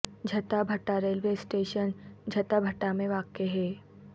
Jhatha Bhatta railway station Jhatha Bhatta میں واقع ہے